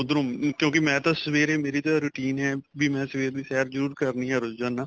ਉੱਧਰੋ ਕਿਉਂਕਿ ਮੈਂ ਤਾਂ ਸਵੇਰੇ ਮੇਰੀ ਤਾਂ routine ਏ ਵੀ ਮੈਂ ਸਵੇਰ ਦੀ ਸੈਰ ਜਰੂਰ ਕਰਨੀ ਏ ਰੋਜ਼ਾਨਾ